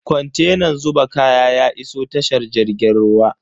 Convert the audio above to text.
Kontenan zuba kaya ya iso tashar jirgin ruwan.